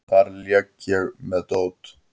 Þar leik ég með dót.